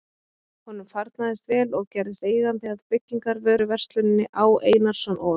Honum farnaðist vel og gerðist eigandi að byggingarvöruversluninni Á. Einarsson og